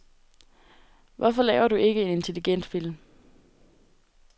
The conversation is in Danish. Hvorfor laver du ikke en intelligent film?